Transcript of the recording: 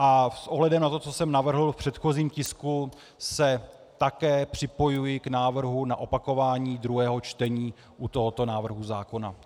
A s ohledem na to, co jsem navrhl v předchozím tisku, se také připojuji k návrhu na opakování druhého čtení u tohoto návrhu zákona.